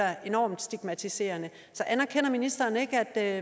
enormt stigmatiserende så anerkender ministeren ikke at